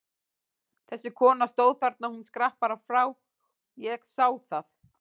Þessi kona stóð þarna, hún skrapp bara frá, ég sá það!